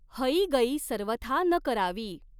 हईगई सर्वथा न करावी।